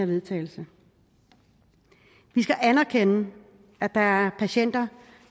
vedtagelse vi skal anerkende at der er patienter